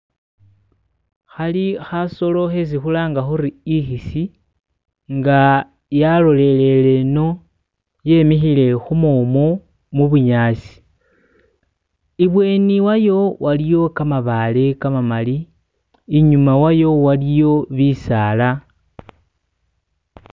hali hasolo hesi hulanga huri ihisi nga yalolere ino yemihile humumu mubunyasi ibweni wayo waliyo kamabaale kamamali inyuma wayo waliyo bisaala